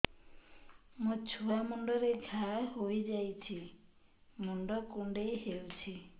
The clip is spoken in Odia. ମୋ ଛୁଆ ମୁଣ୍ଡରେ ଘାଆ ହୋଇଯାଇଛି ମୁଣ୍ଡ କୁଣ୍ଡେଇ ହେଉଛି